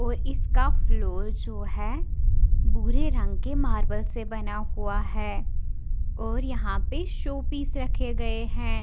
और इसका फ्लोर जो है भूरे रंग के मार्बल से बना है और यहाँ पर शोपीस रखे गए है।